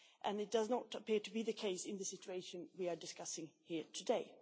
This does not appear to be the case in the situation we are discussing here today.